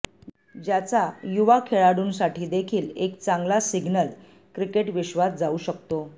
ज्याचा युवा खेळाडूंसाठीदेखील एक चांगला सिग्नल क्रिकेट विश्वात जाऊ शकतो